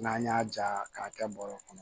N'an y'a ja k'a kɛ bɔrɛ kɔnɔ